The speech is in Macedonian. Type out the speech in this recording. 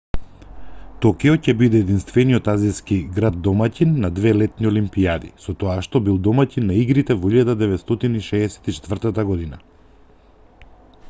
токио ќе биде единствениот азиски град домаќин на две летни олимпијади со тоа што бил домаќин на игрите во 1964 г